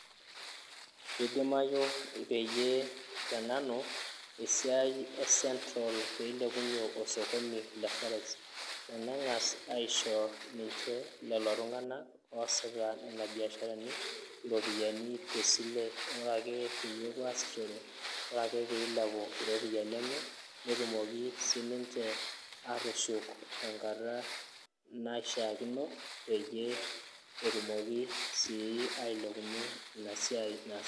kidimayu peyie tenanu esiai e central peilepunyie osokoni, le forex tenengas aisho, niche lelo tunganak oosita nena biasharani, iropiyiani tesile ore ake pee epuo aisishore ore ake pee ilepu iropiyiani, ebene netumoki sii niche atushuk enkata naishaakino peyie etumoki sii niche.